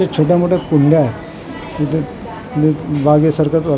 इथे छोट्या मोठ्या कुंड्या आहे इथे इथे बागेसारखंच आह --